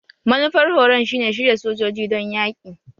Manufar horon shine shirya sojoji don yaki?